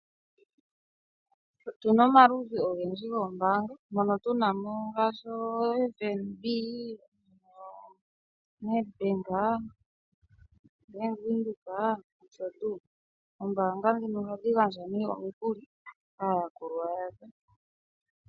Otuna omaludhi ogendji goombaanga mono tunamo ngaashi: FNB, Nedbank, bank Windhoek nosho tuu. Oombanga ndhino ohadhi gandja nee omikuli kaa yakulwa yadho.